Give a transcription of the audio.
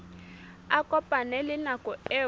a kopane le nako eo